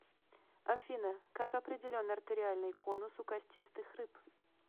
афина как определен артериальный конус у костистых рыб